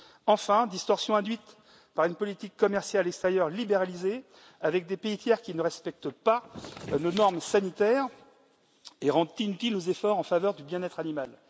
Enfin, distorsions induites par une politique commerciale extérieure libéralisée avec des pays tiers qui ne respectent pas nos normes sanitaires et rendent inutiles nos efforts en faveur du bien être animal.